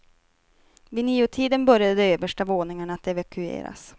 Vid niotiden började de översta våningarna att evakueras.